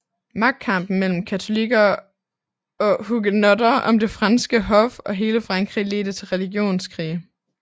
Magtkampen mellem katolikker og hugenotter om det franske hof og hele Frankrig ledte til religionskrig